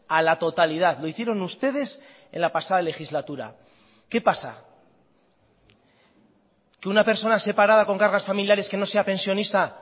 a la totalidad lo hicieron ustedes en la pasada legislatura qué pasa que una persona separada con cargas familiares que no sea pensionista